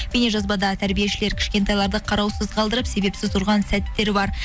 бейнежазбада тәрбиешілер кішкентайларды қараусыз қалдырып себепсіз ұрған сәттер бар